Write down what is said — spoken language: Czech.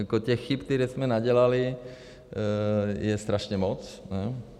Jako těch chyb, které jsme nadělali, je strašně moc.